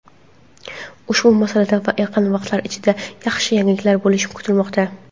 Ushbu masalada yaqin vaqtlar ichida yaxshi yangiliklar bo‘lishi kutilmoqda.